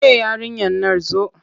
Ke yarinyar nan zo!